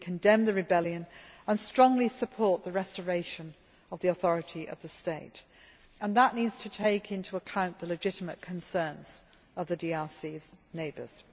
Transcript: We condemn the rebellion and strongly support the restoration of the authority of the state, and that needs to take into account the legitimate concerns of the DRC's neighbours.